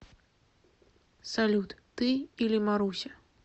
салют ты или маруся